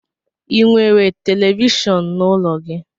Ị nwere televishon n'ụlọ gị?